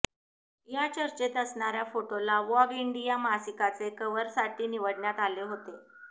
या चर्चेत असणाऱ्या फोटोला वॉग इंडिया मासिकाचे कव्हरसाठी निवडण्यात आले होते